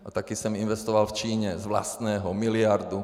A taky jsem investoval v Číně z vlastního miliardu.